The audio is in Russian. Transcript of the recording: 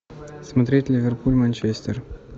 смотреть ливерпуль манчестер